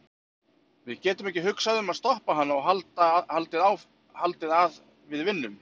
Við getum ekki hugsað um að stoppa hana og haldið að við vinnum.